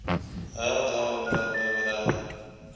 ander bv werfgrond